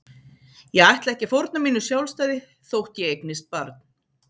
Ég ætla ekki að fórna mínu sjálfstæði þótt ég eignist barn.